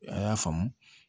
A y'a faamu